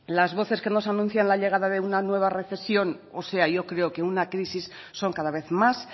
las voces que nos anuncian la llegada de una nueva recesión o sea yo creo que una crisis son cada vez más